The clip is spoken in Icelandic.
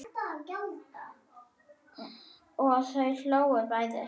Og þau hlógu bæði.